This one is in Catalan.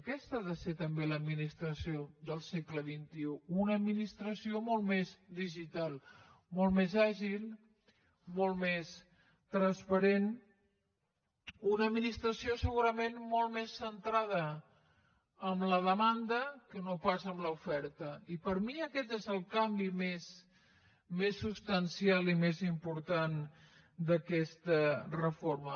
aquesta ha de ser també l’administració del segle xxi una administració molt més digital molt més àgil molt més transparent una administració segurament molt més centrada en la demanda que no pas en l’oferta i per mi aquest és el canvi més substancial i més important d’aquesta reforma